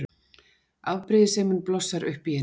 Afbrýðisemin blossar upp í henni.